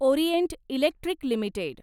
Orient Electric limited